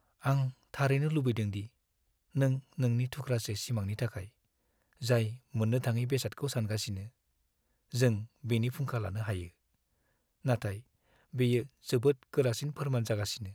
आं थारैनो लुबैदों दि नों नोंनि थुख्रासे सिमांनि थाखाय जाय मोननो थाङै बेसादखौ सानगासिनो, जों बेनि फुंखा लानो हायो, नाथाय बेयो जोबोद गोरासिन फोरमान जागासिनो।